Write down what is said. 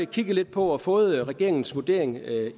kigget lidt på og fået regeringens vurdering af